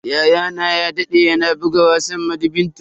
Yayana ya dade yana buga wasan badminton.